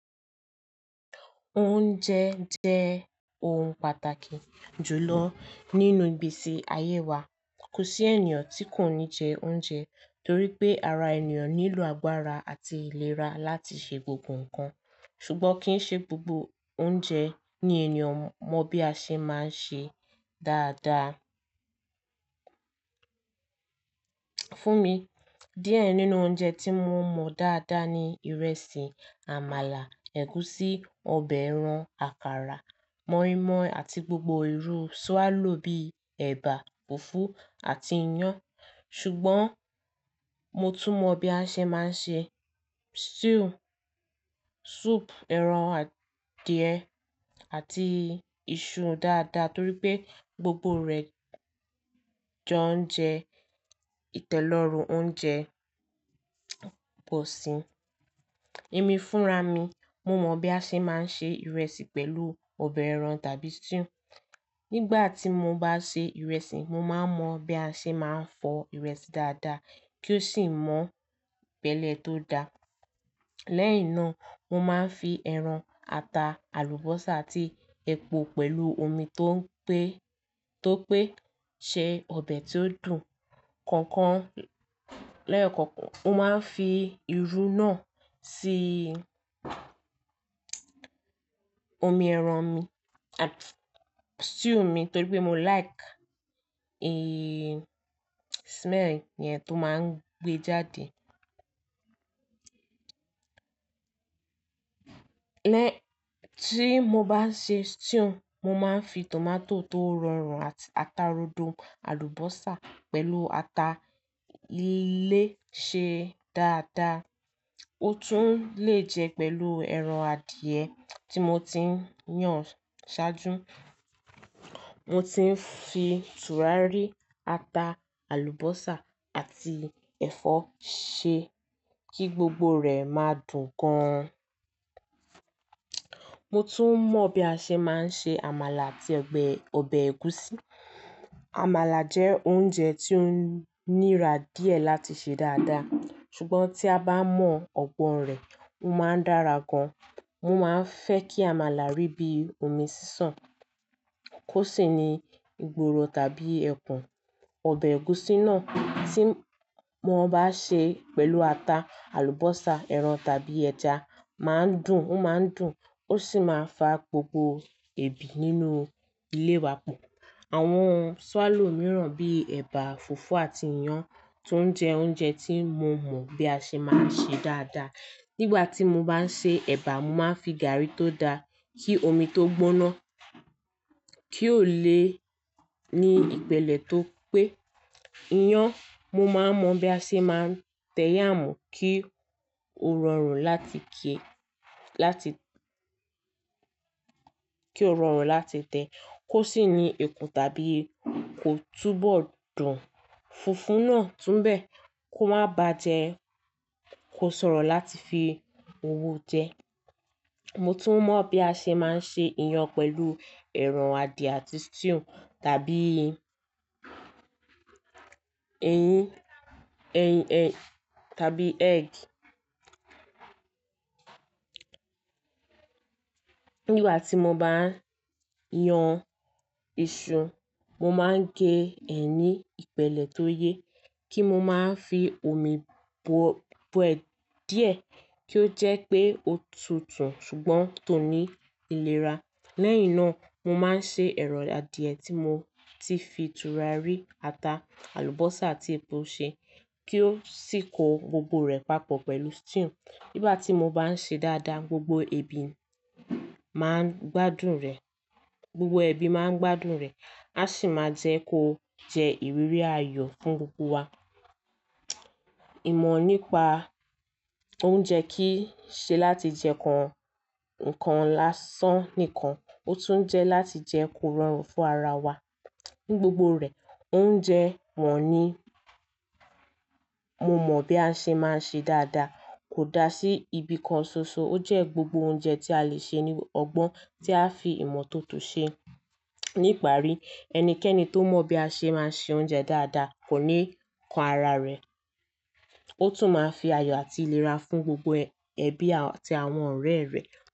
Oúnjẹ jẹ́ ohun pàtàkì jùlọ nínú igbesi ayé wa. Kò sí ènìyàn tí kò ní jẹ oúnjẹ torí pé ara ènìyàn nílò agbára àti ìlera láti ṣe gbogbo ǹkan. Ṣùgbọ́n kì í ṣe gbogbo oúnjẹ ni ènìyàn mọ bí a ṣe máa ń sè é dáadáa. Fún mi, díẹ̀ nínú oúnjẹ tí mo mọ dáadáa ni ìrẹsì, àmàlà, ẹ̀gúsí, ọbẹ̀ ẹran, àkàrà, mọ́ímọ́í àti gbogbo irú sùálò bíi ẹ̀bà, fùfú àti iyán. Ṣùgbọ́n mo tún mọ bí a ṣe máa ń ṣe stew, soup ẹran adìẹ àti iṣu dáadáa torí pé gbogbo rẹ̀ jẹ́ oúnjẹ ìtẹ́lọ́rùn oúnjẹ bọ̀sì. Emi fúnra mi, mo mọ̀ bí a ṣe máa ń ṣe ìrẹsì pẹ̀lú ọbẹ̀ ẹran tàbí stew. Nígbà tí mo bá ṣe ìrẹsì, mo máa mọ bí a ṣe máa ń fọ ìrẹsì dáadáa kí ó sì mọ́ ìpèlè tó da. Lẹ́yìn náà mo máa ń fi ẹran, ata, àlùbọ́sà àti epo pẹ̀lú omi tó pé-- tó pé ṣe ọbẹ̀ tó dùn kankan lẹ́yọ̀kọ̀kan. Mo máa ń fi irú náà tí omi ẹran mi àti stew mi torí pé mo like, eeh, smell yẹn tó máa ń gbé jáde. Lẹ́-- tí mo bá ṣe stew, mo máa ń fi tòmátò tó rọrùn àti ata rodo, àlùbọ́sà pẹ̀lú ata lè ṣe dáadáa. Ó tún lè jẹ́ pẹ̀lú ẹran adìẹ tí mo ti ń yán ṣáájú. Mo ti ń fi tùràrí, ata, àlùbọ́sà àti ẹ̀fọ́ ṣe kí gbogbo rẹ̀ máa dùn gan. Mo tún mọ bí a ṣe máa ń ṣe àmàlà àti ọbẹ̀, ọbẹ̀ ẹ̀gúsí. Àmàlà jẹ́ oúnjẹ tí ó nira díẹ̀ láti ṣe dáadáa, ṣùgbọ́n tí a bá mọ ọgbọ́n rẹ̀, ó máa ń dára gan. Mo máa ń fẹ́ kí àmàlà rí bíi omi sísàn kó sì ni ìgboro tàbí ẹ̀kùn. Ọbẹ̀ ẹ̀gúsí náà tí mo bá sè é pẹ̀lú ata, àlùbọ́sà, ẹran tàbí ẹja máa ń dùn, ó máa ń dùn, ó sì máa ń fa gbogbo ebi nínú ilé wa pọ̀. Àwọn sùálò mìíràn bíi ẹ̀bà, fùfú àti iyán tó ń jẹ́ oúnjẹ tí mo mọ bí a ṣe máa ṣe dáadáa. Nígbà tí mo bá ń ṣe ẹ̀bà, mo máa ń fi gàrí tó da kí omi tó gbóná kí ó lè ní ìpèlè tó pé. Iyán, mo máa mọ bí a ṣe máa ń tẹ̀ yáàmú kí ó rọrùn láti kíẹ-- láti-- kí ó rọrùn láti tẹ kó sì ni ikùn tàbí kò túbọ̀ dùn. Fùfú náà tún bẹ́ẹ̀, kó má ba jẹ́ kó ṣòro láti fi owó jẹ. Mo tún mọ bí a ṣe máa ń ṣe iyán pẹ̀lú ẹran adìẹ àti stew tàbí eyín, eyín, eyín tàbí egg. Nígbà tí mo bá yán iṣu, mo máa ń gẹ ẹ ní ìpèlè tó yẹ kí mo máa ń fi omi bo, bọ ẹ díẹ̀ kí ó jẹ́ pé ó tutù ṣùgbọ́n tó ní ìlera. Lẹ́yìn náà mo máa ń ṣe ẹ̀rọ adìẹ tí mo ti fi tùràrí, ata, àlùbọ́sà àti epo ṣe kí ó sì kó gbogbo rẹ̀ papọ̀ pẹ̀lú stew. Nígbà tí mo bá sè é dáadáa, gbogbo ẹbí máa ń gbádùn rẹ̀, gbogbo ẹbí máa ń gbádùn rẹ̀. A sì máa ń jẹ́ kó jẹ ìrírí ayọ̀ fún gbogbo wa. Ìmọ̀ nípa oúnjẹ kì í ṣe láti jẹ́ kan-ǹkan lásán nìkan, ó tún jẹ́ láti jẹ́ kó rọrùn fún ara wa. Ní gbogbo rẹ̀, oúnjẹ mọ̀ ní mo mọ bí a ṣe máa ń ṣe dáadáa kò dá sí ibìkan ṣoṣo, ó jẹ́ gbogbo oúnjẹ tí a lè ṣe ní ọgbọ́n tí a fi ìmọ̀ tó tún ṣe. Ní ìparí, ẹnikẹ́ni tó mọ bí a ṣe máa ń se oúnjẹ dáadáa kò ní kan ara rẹ̀. Ó tún máa ń fi ayọ̀ àti ìlera fún gbogbo ẹbí àti àwọn ọ̀rẹ́ rẹ̀.